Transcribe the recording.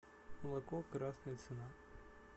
молоко красная цена